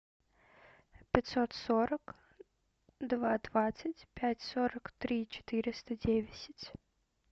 пятьсот сорок два двадцать пять сорок три четыреста десять